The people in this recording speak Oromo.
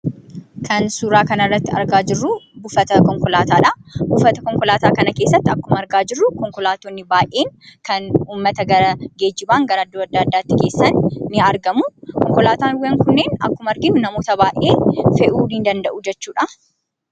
Kan suuraa kana irratti argaa jirruu, buufata konkolaataa dha. Buufata konkolaataa kana keessatti akkuma argaa jirru , konkolaatonni baayyeen kan uummata geejiban gara iddoo addaa addaatti geessan ni argamuu. Konkolaataawwan kunniin akkuma arginu namoota baayyee fe'uu ni danda'u jechuudha